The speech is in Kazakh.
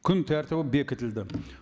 күн тәртібі бекітілді